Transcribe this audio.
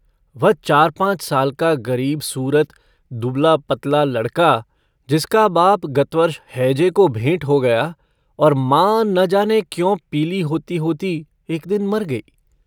वह चार-पांच साल का गरीब-सूरत दुबला-पतला लड़का जिसका बाप गत वर्ष हैजे को भेंट हो गया और मां न जाने क्यों पीली होती-होती एक दिन मर गई।